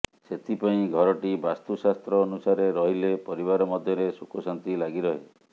ସେଥିପାଇଁ ଘରଟି ବାସ୍ତୁ ଶାସ୍ତ୍ର ଅନୁସାରେ ରହିଲେ ପରିବାର ମଧ୍ୟରେ ସୁଖଶାନ୍ତି ଲାଗିରହେ